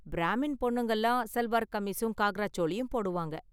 பிராமின் பொண்ணுங்கலாம் சல்வார் கமீஸும் காக்ரா சோளியும் போடுவாங்க.